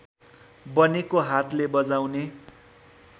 बनेको हातले बजाउने